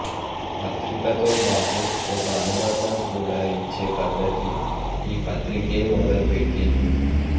పత్రికతో బాటు ఒక అనుబంధం కూడా ఇచ్చే పద్ధతి ఈ పత్రికే మొదలు పెట్టింది